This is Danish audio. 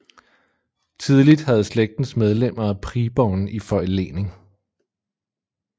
Tidligt havde slægtens medlemmer Priborn i forlening